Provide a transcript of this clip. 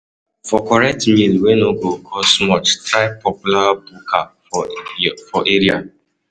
For correct meal wey no go cost much, try the popular buka for area.